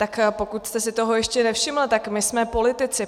Tak pokud jste si toho ještě nevšiml, tak my jsme politici.